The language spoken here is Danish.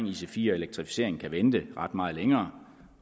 ic4 og elektrificering kan vente ret meget længere